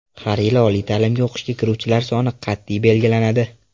Har yili oliy ta’limga o‘qishga kiruvchilar soni qat’iy belgilanadi.